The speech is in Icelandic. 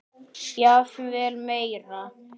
Jafnvel meira.